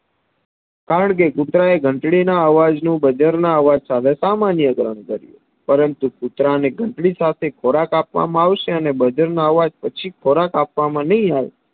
કારણકે કુતરાએ ઘંટડીના અવાજ નું બાજરાના અવાજના અવાજ સાથે સામાન્ય કારણ કર્યું પરંતુ કૂતરાને ઘંટડી સાથે ખોરાક આપવામાં આવશે અને બજરના અવાજ પછી ખોરાક આપવામાં નય આવે